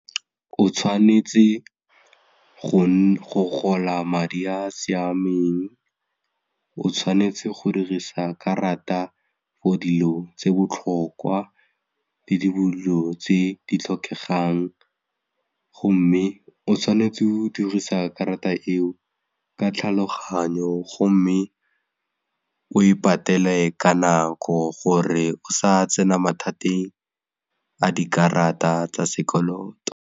O tshwanetse go gola madi a a siameng, o tshwanetse go dirisa karata for dilo tse botlhokwa le dilo tse di tlhokegang gomme go tshwanetse o dirisa karata eo ka tlhaloganyo gomme o e patele ka nako gore o sa tsena mathateng a dikarata tsa sekoloto.